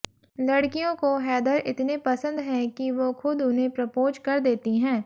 लड़कियों को हैदर इतने पसंद हैं कि वो खुद उन्हें प्रपोज़ कर देती हैं